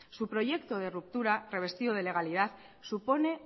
su proyecto de ruptura revestido de legalidad supone